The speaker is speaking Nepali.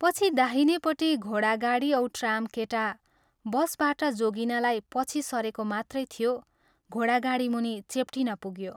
पछि, दाहिनेपट्टि घोडागाडी औ ट्राम केटा ' बस ' बाट जोगिनलाई पछि सरेको मात्रै थियो, घोडागाडीमुनि चेप्टिन पुग्यो।